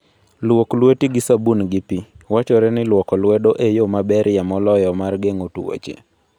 Luok lweti gi sabun gi pi. Wachore ni lwoko lwedo e yo maberie moloyo mar geng'o tuoche.